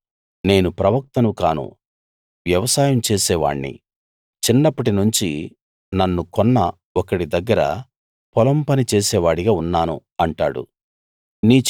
వాడు నేను ప్రవక్తను కాను వ్యవసాయం చేసేవాణ్ణి చిన్నప్పటి నుంచి నన్ను కొన్న ఒకడి దగ్గర పొలం పని చేసేవాడిగా ఉన్నాను అంటాడు